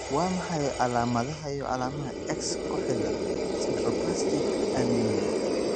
Waa maxay calamadaha iyo calaamadaha X-ku xidhan sideroblastic anemia?